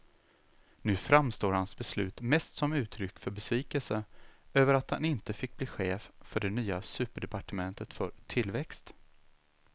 Nu framstår hans beslut mest som uttryck för besvikelse över att han inte fick bli chef för det nya superdepartementet för tillväxt.